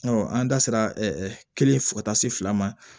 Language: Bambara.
an da sera kelen fo ka taa se fila ma